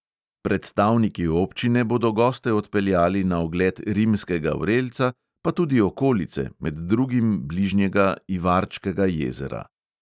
Predstavniki občine bodo goste odpeljali na ogled rimskega vrelca, pa tudi okolice, med drugim bližnjega ivarčkega jezera.